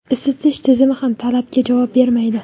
Isitish tizimi ham talabga javob bermaydi.